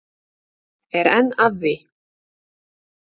Er enn að því.